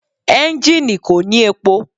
Enjini ko ni epo